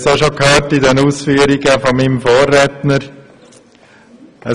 Wir haben es in den Ausführungen meines Vorredners auch schon gehört: